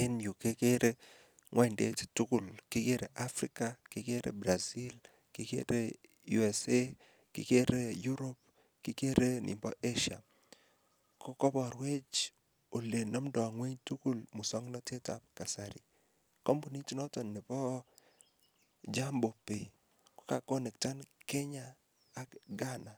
En yu kegere ngwondut tugul. Kigere Africa, kigere Brazil, kigere USA, kigere Europe, kigere nibo Asia. Koborwech olenamndo ng'weny tugul musongnatetab kasari. Kampunit noto nebo Jambo Pay ko kakonekten Kenya ak Ghana,